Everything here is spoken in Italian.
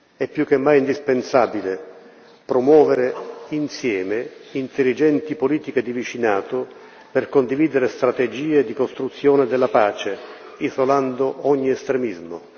È più che mai indispensabile promuovere insieme intelligenti politiche di vicinato per condividere strategie di costruzione della pace, isolando ogni estremismo.